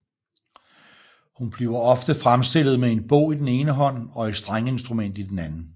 Hun bliver ofte fremstillet med en bog i den ene hånd og et strengeinstrument i den anden